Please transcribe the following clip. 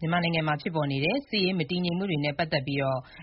ြန်မာနိုင်ငံမှာ ဖြစ်ပေါ်နေတဲ့ စစ်ရေး မတည်ငြိမ်မှုတွေနဲ့ ပတ်သက်ပြီး